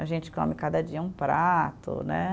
A gente come cada dia um prato, né?